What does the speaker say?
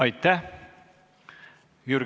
Aitäh!